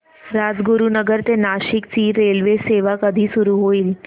राजगुरूनगर ते नाशिक ची रेल्वेसेवा कधी सुरू होईल